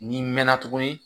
N'i mɛnna tuguni